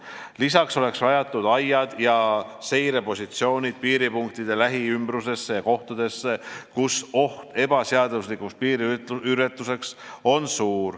Lisaks oleks rajatud aiad ja seirepositsioonid piiripunktide lähiümbrusesse ja kohtadesse, kus on suur ebaseadusliku piiriületuse oht.